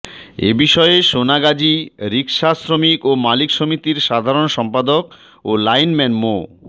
এ বিষয়ে সোনাগাজী রিকশা শ্রমিক ও মালিক সমিতির সাধারণ সম্পাদক ও লাইনম্যান মো